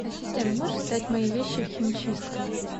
ассистент можешь сдать мои вещи в химчистку